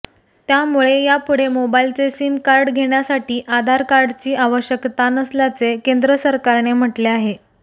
त्यामुळे यापुढे मोबाइलचे सिम कार्ड घेण्यासाठी आधार कार्डची आवश्यकता नसल्याचे केंद्र सरकारने म्हटले आहे